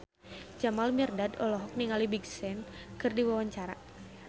Jamal Mirdad olohok ningali Big Sean keur diwawancara